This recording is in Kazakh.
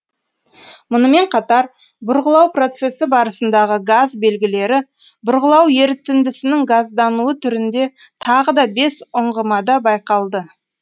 мұнымен қатар бұрғылау процесі барысындагы газ белгілері бұрғылау ерітіндісінің газдануы түрінде тағы да бес ұңғымада байқалды